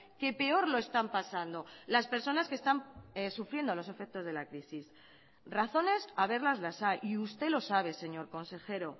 que peor lo están pasando las personas que están sufriendo los efectos de la crisis razones haberlas las hay y usted lo sabe señor consejero